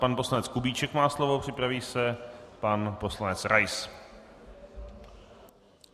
Pan poslanec Kubíček má slovo, připraví se pan poslanec Rais.